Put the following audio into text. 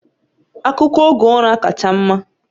Akụkọ oge ụra kacha mma